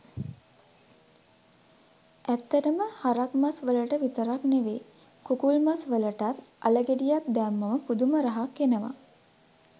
ඇත්තටම හරක් මස් වලට විතරක් නෙවෙයි කුකුළු මස් වලටත් අල ගෙඩියක් දැම්මම පුදුම රහක් එනවා